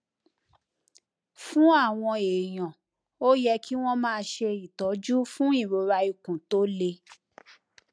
fún àwọn èèyàn ó yẹ kí wón máa ṣe ìtọjú fún ìrora ikun tó le